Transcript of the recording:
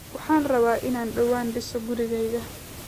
Waxaan rabaa inaan dhawaan dhiso gurigayga